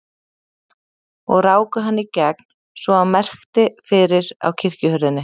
Og ráku hann í gegn svo að merkti fyrir á kirkjuhurðinni.